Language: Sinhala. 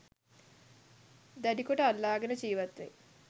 දැඩිකොට අල්ලාගෙන ජීවත්වෙයි.